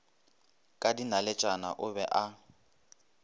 ka dinaletšana o be a